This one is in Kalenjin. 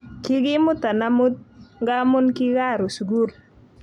Kikimutan amut ngamun kikaruuu sukul